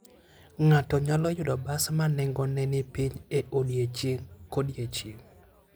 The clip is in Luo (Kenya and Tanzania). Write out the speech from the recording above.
Ng'ato nyalo yudo bas ma nengone ni piny e odiechieng' kodiechieng'.